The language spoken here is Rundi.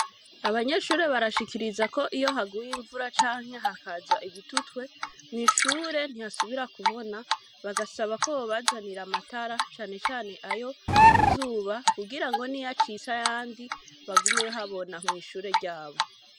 Abanyeshure barashikiriza Iyo haguye imvura hakaza ibitutwe mwishure ntihasubira kubona bagasaba ko bobazanira amatara yo kuzuba kigirango nubwo amatara yocika hagume habona mwishure ryabo.